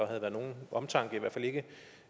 havde været nogen omtanke i hvert fald ikke